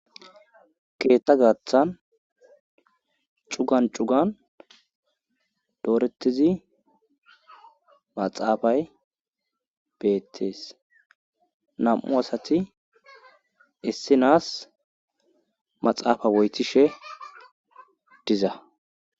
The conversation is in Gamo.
Keetta gaaththan cugan cugan doorettizi maxaafay beettees nam'u asati issinaas maxaafa woytishe diza.